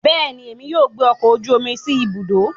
Bẹẹni, Èmi yóò gbé ọkọ ojú omí sí ibùdó